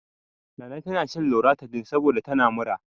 Nana tana shan loratidin saboda tana mura.